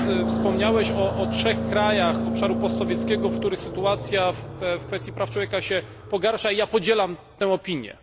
Wspomniałeś o trzech krajach obszaru postsowieckiego, w których sytuacja w kwestii praw człowieka się pogarsza, i ja podzielam tę opinię.